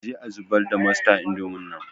Aje a zubar da masta indomin nan